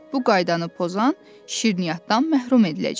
Bu qaydanı pozan şirniyyatdan məhrum ediləcək.